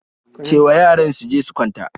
Ce wa yaran su je su kwanta